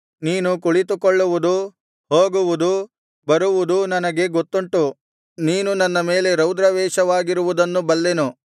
ನೀನು ಕುಳಿತುಕೊಳ್ಳುವುದು ಹೋಗುವುದು ಬರುವುದೂ ನನಗೆ ಗೊತ್ತುಂಟು ನೀನು ನನ್ನ ಮೇಲೆ ರೌದ್ರಾವೇಷವಾಗಿರುವುದನ್ನು ಬಲ್ಲೆನು